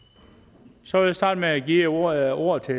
så vil jeg starte med at give ordet ordet til